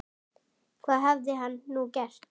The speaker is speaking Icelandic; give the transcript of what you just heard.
Hvað hafði hann nú gert?